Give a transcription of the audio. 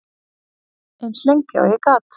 Eins lengi og ég gat.